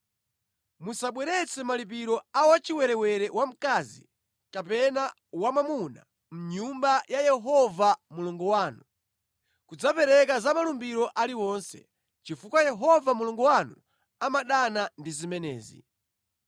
Musabweretse malipiro a wachiwerewere wamkazi kapena wamwamuna Mʼnyumba ya Yehova Mulungu wanu kudzapereka za malumbiro aliwonse, chifukwa Yehova Mulungu wanu amadana ndi zimenezi.